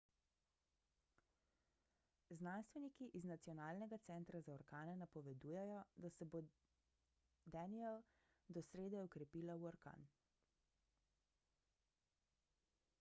znanstveniki iz nacionalnega centra za orkane napovedujejo da se bo danielle do srede okrepila v orkan